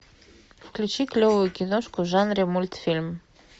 включи клевую киношку в жанре мультфильм